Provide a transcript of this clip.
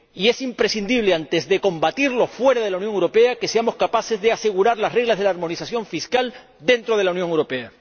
Es imprescindible, antes de combatirlo fuera de la Unión Europea, que seamos capaces de asegurar las reglas de la armonización fiscal dentro de la Unión Europea.